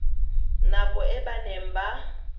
nako e ba neng ba